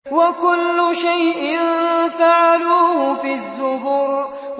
وَكُلُّ شَيْءٍ فَعَلُوهُ فِي الزُّبُرِ